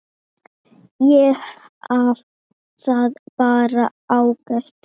Ég hafði það bara ágætt.